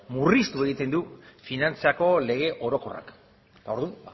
murriztu egiten du finantzako lege orokorrak orduan